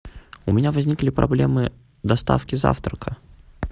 у меня возникли проблемы доставки завтрака